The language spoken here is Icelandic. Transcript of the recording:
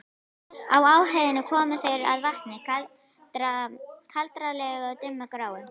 Á háheiðinni komu þeir að vatni, kaldranalegu og dimmgráu.